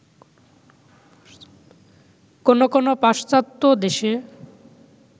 কোনো কোনো পাশ্চাত্য দেশে